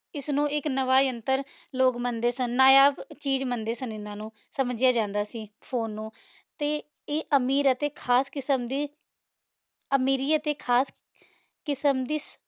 ਏਸ ਨੂ ਏਇਕ ਨਾਵਾ ਯੰਤਰ ਲੋਗ ਮੰਡੇ ਸਨ ਨਾਯਾਬ ਚੀਜ ਮੰਡੇ ਸਨ ਇਨਾਂ ਨੂ ਸਮਝਯਾ ਜਾਂਦਾ ਸੀ ਫੋਨੇ ਨੂ ਤੇ ਈਯ ਅਮੀਰ ਅਤੀ ਖਾਸ ਕਿਸਮ ਦੇ ਅਮੀਰੀਅਤ ਤੇ ਖਾਸ ਕਿਸਮ ਦੀ